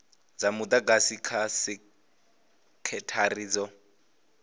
dza mudagasi kha sekithara dzo